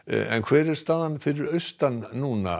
en hver er staðan fyrir austan núna